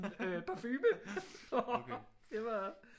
Perfume og det var